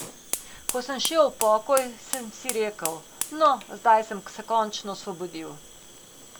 Ko sem šel v pokoj, sem si rekel, no, zdaj sem se končno osvobodil.